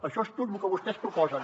això és tot lo que vostès proposen